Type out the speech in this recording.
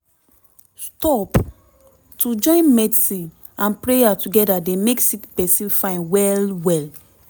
stop - to join medicine and prayer together dey make sick pesin fine well well